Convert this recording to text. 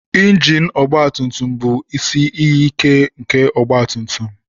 Injin ọgba tùmtùm bụ isi iyi ìké nke ọgba tùmtùm